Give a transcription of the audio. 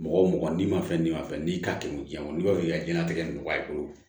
Mɔgɔ mɔgɔ n'i ma fɛn d'i ma fɛn n'i k'a kɛ jiyɛn kɔnɔ n'i b'a fɛ k'i diɲɛnatigɛ nɔgɔya i bolo